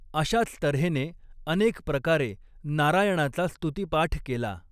अशाच तर्हेने अनेक प्रकारे नारायणाचा स्तुतिपाठ केला.